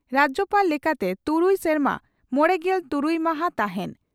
ᱨᱟᱡᱭᱚᱯᱟᱲ ᱞᱮᱠᱟᱛᱮ ᱛᱩᱨᱩᱭ ᱥᱮᱨᱢᱟ ᱢᱚᱲᱮᱜᱮᱞ ᱛᱩᱨᱩᱭ ᱢᱟᱦᱟᱸ ᱛᱟᱦᱮᱸᱱ ᱾